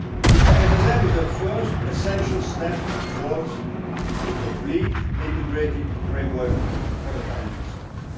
The SSM is a first, essential step towards a complete, integrated framework for the financial sector.